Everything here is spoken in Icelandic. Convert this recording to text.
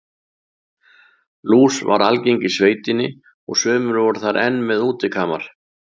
Lús var algeng í sveitinni og sumir voru þar enn með útikamar.